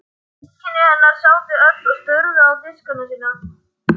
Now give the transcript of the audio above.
Systkini hennar sátu öll og störðu á diskana sína.